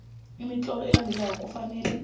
imitlolo elandelako kufanele